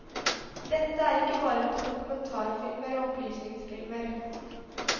Dette er ikke bare dokumentarfilmer og opplysningsfilmer.